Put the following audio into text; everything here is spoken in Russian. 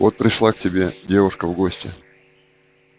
вот пришла к тебе девушка в гости